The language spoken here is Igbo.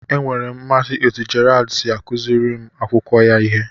Enwere m mmasị n'otú Gerald si akụziri ụmụ akwụkwọ ya ihe